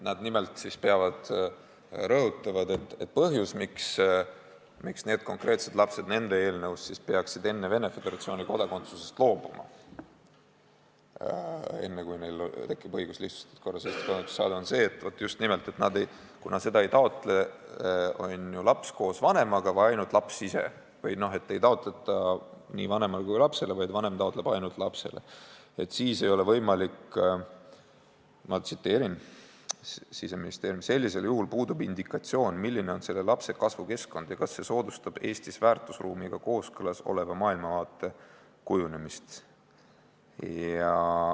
Nad nimelt rõhutavad, et põhjus, miks need konkreetsed lapsed nende eelnõu järgi peaksid Venemaa Föderatsiooni kodakondsusest loobuma, enne kui neil tekib õigus lihtsustatud korras Eesti kodakondsus saada, on just nimelt see, et kuna seda ei taotle laps koos vanemaga ega ainult laps ise või et seda ei taotleta nii vanemale kui ka lapsele, vaid vanem taotleb ainult lapsele, siis puudub indikatsioon – ma viitan Siseministeeriumi öeldule –, milline on selle lapse kasvukeskkond ja kas see soodustab Eesti väärtusruumiga kooskõlas oleva maailmavaate kujunemist.